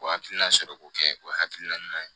O hakilina sɔrɔ ko kɛ o hakilina ɲuman ye